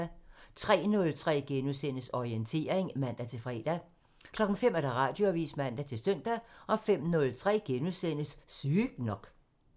03:03: Orientering *(man-fre) 05:00: Radioavisen (man-søn) 05:03: Sygt nok *(man)